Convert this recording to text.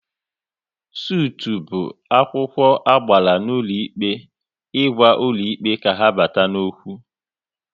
Sutụ bụ akwụkwọ agbara n'ụlọ ikpe ịgwa ụlọ ikpe ka ha bata n'okwu